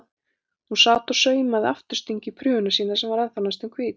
Hún sat og saumaði aftursting í prufuna sína sem var ennþá næstum hvít.